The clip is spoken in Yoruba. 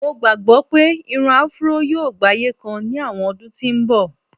mo gbagbọ pe Irun afro yíò gbaye kan ni àwọn ọdún tí n bọ